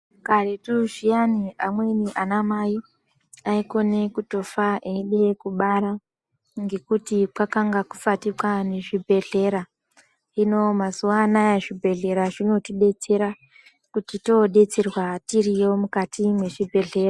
Karetu zviyani amweni anamai aikone kutofa eide kubara ngekuti kwakanga kusati kwane zvibhehlera. Hino mazuwa anaya zvibhehlera zvinotibetsera kuti todetserwa tiriyo mukati mwezvibhehlera.